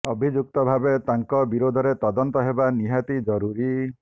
ଅଭିଯୁକ୍ତ ଭାବେ ତାଙ୍କ ବିରୋଧରେ ତଦନ୍ତ ହେବା ନିହାତି ଜରୁରୀ